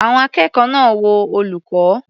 Àwọn akẹ́kọ̀ọ́ náà wo olùkọ́.